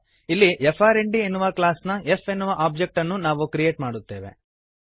ಇಲ್ಲಿ ಫ್ರ್ಂಡ್ ಎನ್ನುವ ಕ್ಲಾಸ್ ನ f ಎನ್ನುವ ಒಬ್ಜೆಕ್ಟ್ ಅನ್ನು ನಾವು ಕ್ರಿಯೇಟ್ ಮಾಡುತ್ತೇವೆ